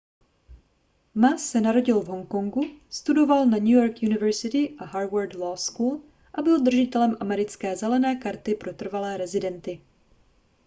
ma se narodil v honkongu studoval na new york university a harward law school a byl držitelem americké zelené karty pro trvalé rezidenty